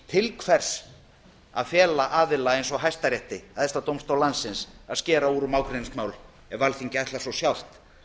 til hvers að fela aðila eins og hæstarétti æðsta dómstól landsins að skera úr um ágreiningsmál ef alþingi ætlar svo sjálft